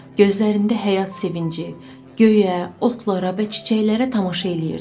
Gözlərində həyat sevinci, göyə, otlara və çiçəklərə tamaşa eləyirdi.